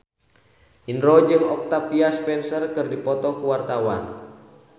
Indro jeung Octavia Spencer keur dipoto ku wartawan